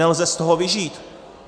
Nelze z toho vyžít.